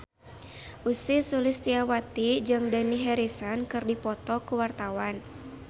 Ussy Sulistyawati jeung Dani Harrison keur dipoto ku wartawan